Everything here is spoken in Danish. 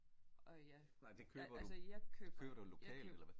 Og ja altså jeg køber jeg køber